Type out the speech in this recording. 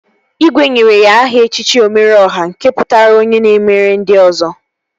Igwe nyere ya aha echichi Omeru Ọha nke pụtara onye na-emere ndị ọzọ